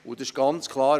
Und es ist ganz klar: